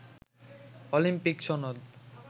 Olympic সনদ